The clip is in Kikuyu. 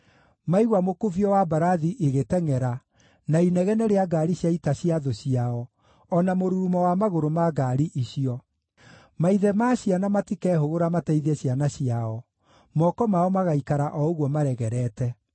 maigua mũkubio wa mbarathi igĩtengʼera, na inegene rĩa ngaari cia ita cia thũ ciao, o na mũrurumo wa magũrũ ma ngaari icio. Maithe ma ciana matikehũgũra mateithie ciana ciao; moko mao magaikara o ũguo maregerete.